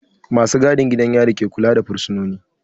Ma su gadin gidan yari ke kula da fursunoni